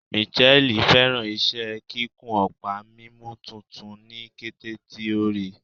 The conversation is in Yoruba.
Mitchelle fẹràn iṣẹ kikun ọpa mimu tuntun ni kete ti o rii